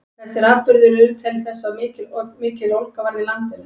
þessir atburðir urðu til þess að mikill ólga varð í landinu